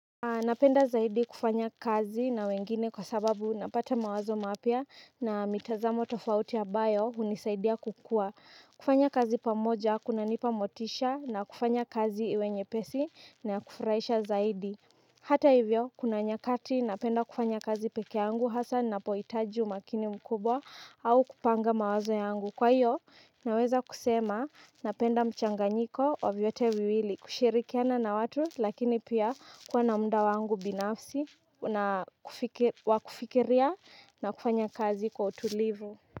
Napenda zaidi kufanya kazi na wengine kwa sababu napata mawazo mapya na mitazamo tofauti ambayo hunisaidia kukua. Kufanya kazi pamoja kunanipa motisha na kufanya kazi iwe nyepesi na ya kufurahisha zaidi. Hata hivyo, kuna nyakati napenda kufanya kazi pekee yangu hasa ninapohitaji umakini mkubwa au kupanga mawazo yangu. Kwa hiyo, naweza kusema, napenda mchanganyiko wa vyote viwili, kushirikiana na watu, lakini pia kuwa na muda wangu binafsi, wa kufikiria na kufanya kazi kwa utulivu.